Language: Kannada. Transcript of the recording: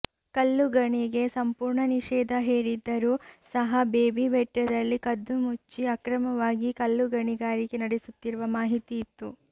ಕಲ್ಲು ಗಣಿಗೆ ಸಂಪೂರ್ಣ ನಿಷೇಧ ಹೇರಿದ್ದರೂ ಸಹ ಬೇಬಿ ಬೆಟ್ಟದಲ್ಲಿ ಕದ್ದುಮುಚ್ಚಿ ಅಕ್ರಮವಾಗಿ ಕಲ್ಲು ಗಣಿಗಾರಿಕೆ ನಡೆಸುತ್ತಿರುವ ಮಾಹಿತಿ ಇತ್ತು